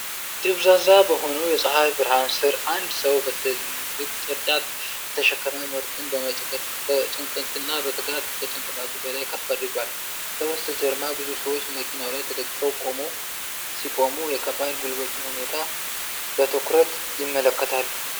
ደብዛዛ በሆነው የፀሐይ ብርሃን ሥር፣ አንድ ሰው በትልቅ ቅርጫት የተሸከመ ምርትን በጭንቀትና በትጋት ከጭንቅላቱ በላይ ከፍ አድርጓል። ከበስተጀርባ ብዙ ሰዎች መኪናው ላይ ተደግፈው ሲቆሙ፣ የከባድ ጉልበቱን ሁኔታ በትኩረት ይመለከቱታል።